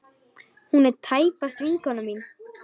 Hún er tæpast vinkona mín.